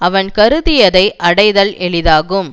அவன் கருதியதை அடைதல் எளிதாகும்